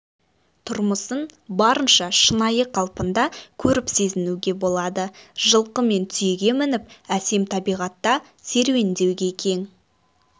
тұрмысын барынша шынайы қалпында көріп сезінуге болады жылқы мен түйеге мініп әсем табиғатта серуендеуге кең